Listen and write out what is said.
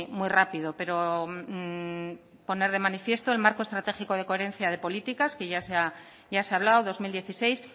muy rápido pero poner de manifiesto el marco estratégico de coherencia de políticas que ya se ha hablado dos mil dieciséis